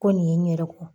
Ko nin ye n yɛrɛ kun